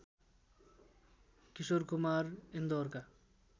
Kishore Kumar इन्दौरका